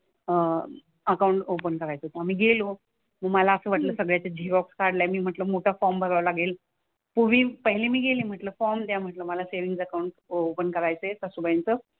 Account open करायचं होतं आम्ही गेलो. मग मला असं वाटलं सगळ्याच्या झेरॉक्स काढल्या मी म्हंटलं मोठा फॉर्म भरावा लागेल. तर मी पहिली मी गेली म्हंटलं फॉर्म द्या म्हंटलं मला सेव्हिन्ग अकाउंट ओपन करायचंय सासूबाईंचं.